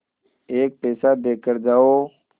एक पैसा देकर जाओ